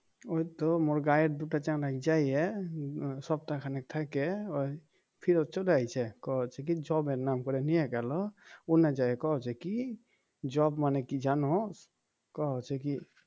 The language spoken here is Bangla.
ওই তো মোর গাঁয়ের দুটা যেয়ে সপ্তাহ খানেক থেকে ওই ফিরত চলে আইছে কইছে কি job এর নাম করে নিয়ে গেল ওখানে যেয়ে কইছে কি job মানে কি জানো কইছে কি